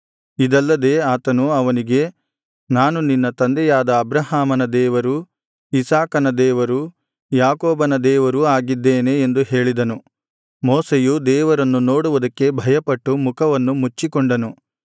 ಇದಲ್ಲದೆ ಆತನು ಅವನಿಗೆ ನಾನು ನಿನ್ನ ತಂದೆಯಾದ ಅಬ್ರಹಾಮನ ದೇವರು ಇಸಾಕನ ದೇವರು ಯಾಕೋಬನ ದೇವರೂ ಆಗಿದ್ದೇನೆ ಎಂದು ಹೇಳಿದನು ಮೋಶೆಯು ದೇವರನ್ನು ನೋಡುವುದಕ್ಕೆ ಭಯಪಟ್ಟು ಮುಖವನ್ನು ಮುಚ್ಚಿಕೊಂಡನು